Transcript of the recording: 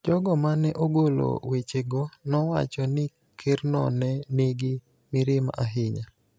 Jogo ma ne ogolo wechego nowacho ni Kerno ne nigi mirima ahinya